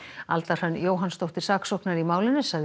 Alda Hrönn Jóhannsdóttir saksóknari í málinu sagði